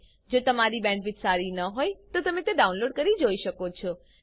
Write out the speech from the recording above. જો તમારી પાસે સારી બેન્ડવિડ્થ ન હોય તો તમે વિડીયો ડાઉનલોડ કરીને જોઈ શકો છો